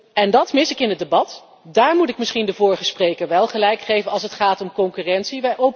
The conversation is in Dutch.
En dat mis ik in het debat, daar moet ik misschien de vorige spreker wel gelijk geven als het gaat om concurrentie.